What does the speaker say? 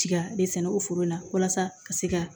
Tiga de sɛnɛ o foro la walasa ka se ka